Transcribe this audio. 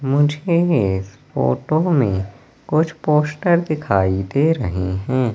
मुझे इस फोटो में कुछ पोस्टर दिखाई दे रहे हैं।